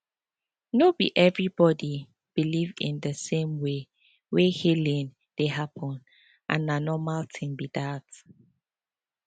no be everybody believe in the same way wey healing dey happen and na normal thing be that